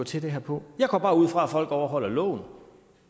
til det her på jeg går bare ud fra at folk overholder loven